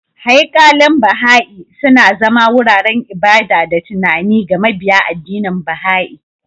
Haikalin Baha'i, suna zama wuraren ibada da tunani ga mabiya addinin Baha'i.